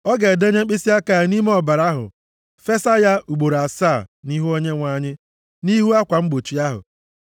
Ọ ga-edenye mkpịsịaka ya nʼime ọbara ahụ fesa ya ugboro asaa nʼihu Onyenwe anyị, nʼihu akwa mgbochi ahụ.